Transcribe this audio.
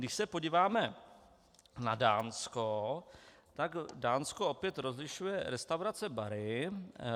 Když se podíváme na Dánsko, tak Dánsko opět rozlišuje restaurace - bary.